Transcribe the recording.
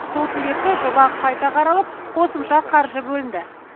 сол себепті жоба қайта қаралып қосымша қаржы бөлінді